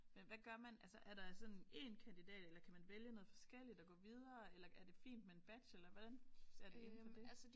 Men hvad gør man altså er der sådan en kandidat eller kan man vælge noget forskelligt og gå videre eller er det fint med en bachelor hvordan ser det hele på det?